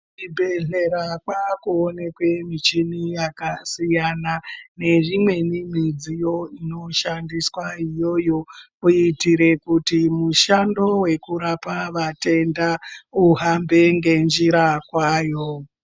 Kuzvibhedlera kwakuwonekwe michini yakasiyana neimwewo midziyo inoshandiswe iyoyo kuitire kuti mishando wekurapa vatenda uhambe nenjira kwayo.